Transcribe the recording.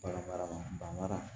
Bagan mara banna